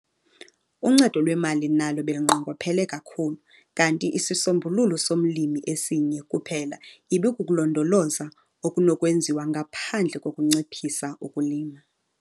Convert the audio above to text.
Uncedo lwemali nalo belunqongophele kakhulu kanti isisombululo somlimi esinye kuphela ibikukulondoloza okunokwenziwa ngaphandle kokunciphisa ukulima.